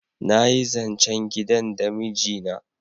nayi zancen gidan da miji na